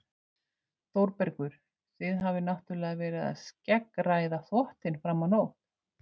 ÞÓRBERGUR: Þið hafið náttúrlega verið að skeggræða þvottinn fram á nótt.